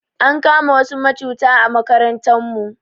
Ankama wasu macuta a makarantan mu